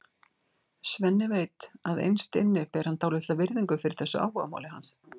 Svenni veit að innst inni ber hann dálitla virðingu fyrir þessu áhugamáli hans.